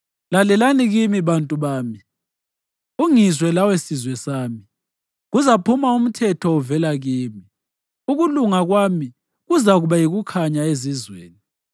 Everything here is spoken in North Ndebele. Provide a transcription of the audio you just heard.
Lalelani kimi, bantu bami; ungizwe lawe sizwe sami: Kuzaphuma umthetho uvela kimi; ukulunga kwami kuzakuba yikukhanya ezizweni.